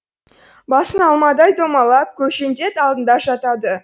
басың алмадай домалап көкжендет алдында жатады